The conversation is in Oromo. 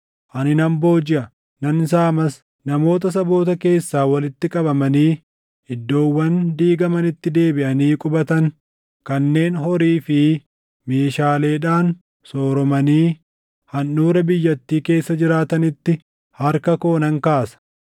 Ani nan boojiʼa; nan saamas; namoota saboota keessaa walitti qabamanii iddoowwan diigamanitti deebiʼanii qubatan kanneen horii fi meeshaaleedhaan sooromanii handhuura biyyattii keessa jiraatanitti harka koo nan kaasa.”